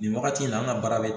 Nin wagati in na an ka baara bɛ